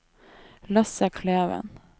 Lasse Kleven